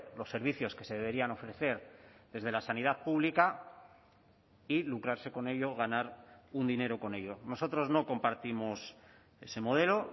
los servicios que se deberían ofrecer desde la sanidad pública y lucrarse con ello ganar un dinero con ello nosotros no compartimos ese modelo